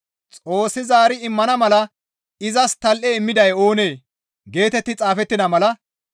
Xoossi zaari immana mala izas tal7e immiday oonee?» geetetti xaafettida mala.